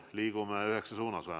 Liigume vähemalt üheksa suunas.